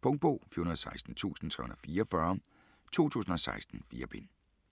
Punktbog 416344 2016. 4 bind.